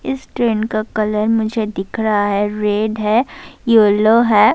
اسس ٹرین کا کلر مجھے دیکھ رہا ہے ریڈ ہے، یلو ہے-